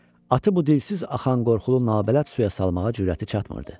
Atı bu dilsiz axan qorxulu nabələd suya salmağa cürəti çatmırdı.